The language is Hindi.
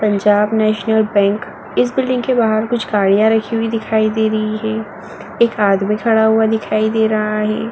Punjab National Bank. इस बिल्डिंग के बाहर कुछ गाड़ियां रखी हुई दिखाई दे रही हैं। एक आदमी खड़ा हुआ दिखाई दे रहा है।